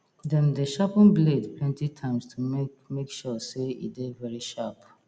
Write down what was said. dem dey sharpen blade plenty times to make make sure say e dey very sharp